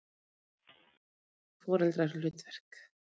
Alheimur og foreldrahlutverk